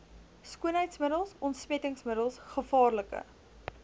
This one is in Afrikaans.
skoonheidsmiddels ontsmettingsmiddels gevaarlike